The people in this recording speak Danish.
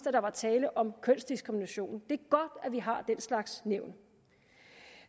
at der var tale om kønsdiskrimination det er godt at vi har den slags nævn